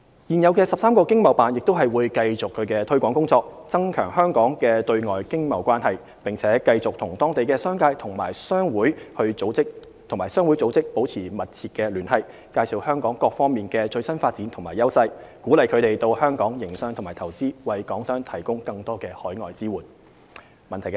現有的13個經貿辦亦會繼續其推廣工作，增強香港的對外經貿關係，並繼續與當地商界和商會組織保持密切聯繫，介紹香港各方面的最新發展和優勢，鼓勵他們到香港營商及投資，為港商提供更多海外支援。